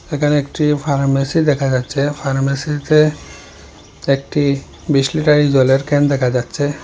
এখানে একটি ফার্মেসি দেখা যাচ্ছে ফার্মেসিতে একটি বিশ লিটারের জলের ক্যান দেখা যাচ্ছে।